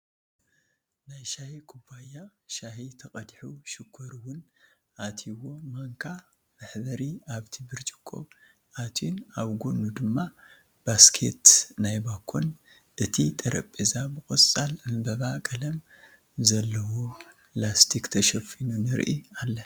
ናይ ሻሂ ኩባያ ሻሂ ተቀዲሑ ሽኮር እዉን ኣትዩዎ ማንካ ምሕብሪ ኣብቲ ብርጭቆ ኣትዩን ኣብ ጎኑ ድማ ባስኬት ናይ ዳቦን ኣቲ ጥረቤዛ ብቆፃል ዕምበባ ቀለም ዘልዎ ላስቲክ ተሸፊኑ ንርኢ ኣለና ።